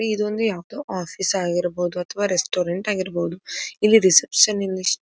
ಇದು ಒಂದು ಯಾವದೋ ಆಫೀಸ್ ಆಗಿರಬಹುದು ಅಥವಾ ರೆಸ್ಟೋರೆಂಟ್ ಆಗಿರಬಹುದು. ಇಲ್ಲಿ ರಿಸೆಪ್ಶನ್ನಿಸ್ಟ್ --